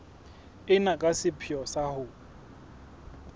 ena ka sepheo sa ho